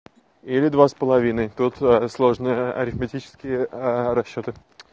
или два с половиной тут сложные арифметические расчёты